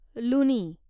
लुनी